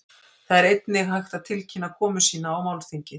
Þar er einnig hægt að tilkynna komu sína á málþingið.